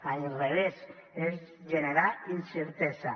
a l’inrevés és generar incertesa